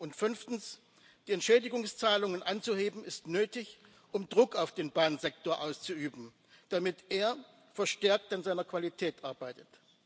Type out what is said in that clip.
Und fünftens ist es nötig, die Entschädigungszahlungen anzuheben, um Druck auf den Bahnsektor auszuüben, damit er verstärkt an seiner Qualität arbeitet.